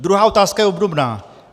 Druhá otázka je obdobná.